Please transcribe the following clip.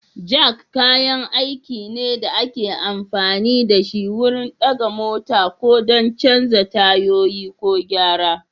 Jak kayan aiki ne da ake amfani da shi wurin ɗaga mota ko don canza tayoyi ko gyara.